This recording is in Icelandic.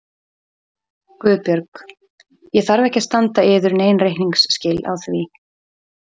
GUÐBJÖRG: Ég þarf ekki að standa yður nein reikningsskil á því.